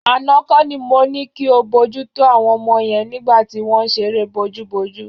Àná kọ́ ni mo ní kí o bójútó àwọn ọmọ yẹn nígbà tí wọ́n ń ṣeré bojúbojú.